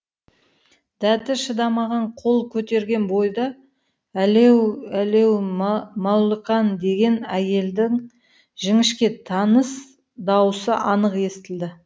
дәті шыдамаған қол көтерген бойда әлеу әлеу мәуліқан деген әйелдің жіңішке таныс дауысы анық естілді